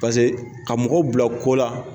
ka mɔgɔw bila ko la